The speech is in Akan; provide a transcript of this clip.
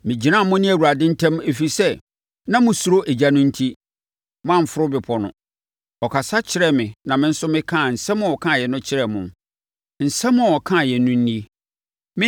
Megyinaa mo ne Awurade ntam, ɛfiri sɛ, na mosuro ogya no enti, moamforo bepɔ no. Ɔkasa kyerɛɛ me na me nso mekaa nsɛm a ɔkaeɛ no kyerɛɛ mo. Nsɛm a ɔkaeɛ no nie: